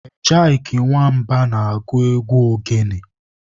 Ejyk Nwamba na-agụ egwu ogene.